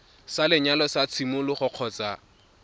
sa lenyalo sa tshimologo kgotsa